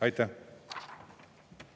Aitäh!